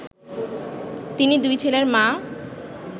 তিনি দুই ছেলের মা